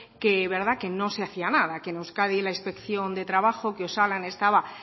que no se hacía nada que en euskadi la inspección de trabajo que osalan estaba